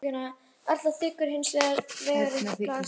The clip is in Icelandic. Já, ég þurfti aðeins að. hjálpa henni, sagði hann.